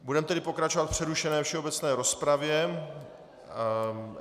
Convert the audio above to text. Budeme tedy pokračovat v přerušené všeobecné rozpravě.